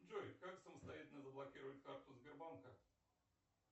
джой как самостоятельно заблокировать карту сбербанка